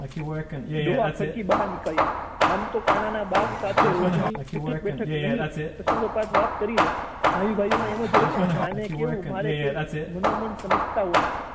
ડોહા ખડકી બહાર નીકળ્યા આમ તો કાના ના બાપ સાથે રોજ ની ઉઠક બેઠક નહી પ્રસંગો પાત વાત કરી લે ભાઈ ભાઈ માં એવું જ હોય ને આને કેહવું મારે કેહવું મનોમન સમજતા હોય